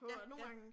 Ja, ja